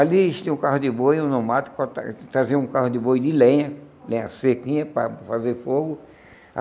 Ali eles tinham um carro de boi, um no mato, traziam um carro de boi de lenha, lenha sequinha, para fazer fogo.